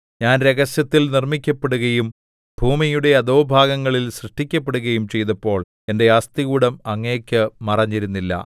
ഞാൻ രഹസ്യത്തിൽ നിർമ്മിക്കപ്പെടുകയും ഭൂമിയുടെ അധോഭാഗങ്ങളിൽ സൃഷ്ടിക്കപ്പെടുകയും ചെയ്തപ്പോൾ എന്റെ അസ്ഥികൂടം അങ്ങേക്ക് മറഞ്ഞിരുന്നില്ല